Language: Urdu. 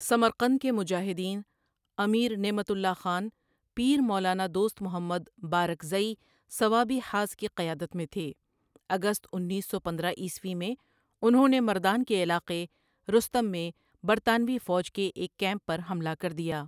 سمرقند کے مجاھدین امیر نعمت اللہ خان پیر مولانا دوست محمد بارکزئی صوابی حاض کی قیادت میں تھے اگست انیس سو پندرہ عیسوی میں انہوں نے مردان کے علاقے رستم میں برطانوی فوج کے ایک کیمپ پر حملہ کر دیا